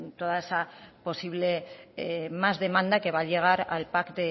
toda esa posible más demanda que va a llegar al pac